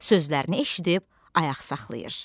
Sözlərini eşidib ayaq saxlayır.